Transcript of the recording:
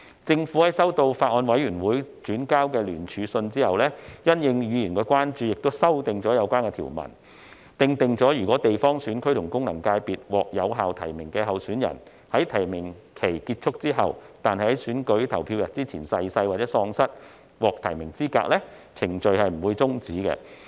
政府在收到法案委員會轉交的聯署信後，因應議員的關注，修正了有關條文，訂明如果地方選區及功能界別獲有效提名的候選人在提名期結束後但在選舉投票日前逝世或喪失獲提名的資格，有關程序不會終止。